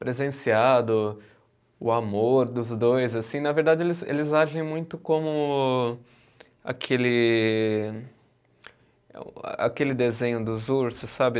presenciado, o amor dos dois, assim, na verdade eles eles agem muito como aquele eh o aquele desenho dos ursos, sabe?